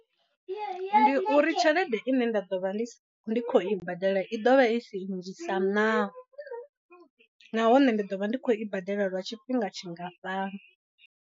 Ndi uri tshelede i ne nda ḓo vha ndi khou i badela i ḓovha i si nnzhi sa naa, nahone ndi ḓo vha ndi khou i badela lwa tshifhinga tshingafhani.